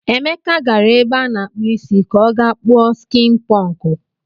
Emeka gara ebe a na-akpụ isi ka ọ gaa kpuo skịn pụnkụ.